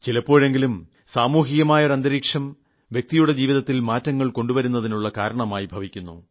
ചിലപ്പോഴെങ്കിലും സാമൂഹികമായ ഒരന്തരീക്ഷം വ്യക്തിയുടെ ജീവിതത്തിൽ മാറ്റങ്ങൾ കൊണ്ടുവരുന്നതിനുളള കാരണമായി ഭവിക്കുന്നു